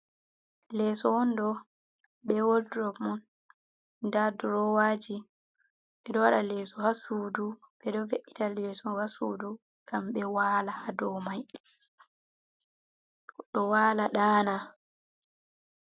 Leeso on ɗo be wodurop man. nda durowaji ɓeɗo waɗa leeso ha sudu ɓeɗo ve’ita leeso ha sudu, ngam domai ɗo wala ɗana.